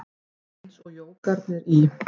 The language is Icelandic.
Eins og jógarnir í